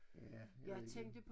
Ja jeg ved ikke